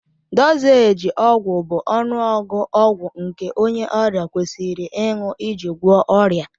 Dozééji ọgwụ bụ ọnụọgụ ọgwụ nke onye ọrịa kwesịrị ịṅụ iji gwọọ ọrịa